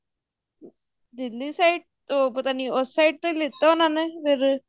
ਦਿੱਲੀ ਤੋਂ ਪਤਾ ਨੀ ਉਸ side ਤੋਂ ਲਿੱਤਾ ਉਹਨਾ ਨੇ